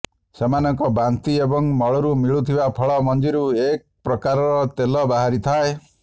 ସେମାନଙ୍କ ବାନ୍ତି ଏବଂ ମଳରୁ ମଳିୁଥିବା ଫଳ ମଞ୍ଜିରୁ ଏକ ପ୍ରକାରର ତେଲ ବାହାରିଥାଏ